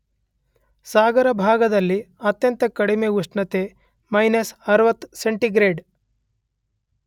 ಸಾಗರ ಭಾಗದಲ್ಲಿ ಅತ್ಯಂತ ಕಡಿಮೆ ಉಷ್ಣತೆ ಮಯ್ನಸ್ 60 ಸೆಂಟಿಗ್ರೇಡ್